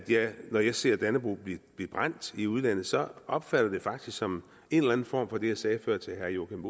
når jeg ser dannebrog blive brændt i udlandet så opfatter jeg det faktisk som en eller anden form for det jeg sagde før til herre joachim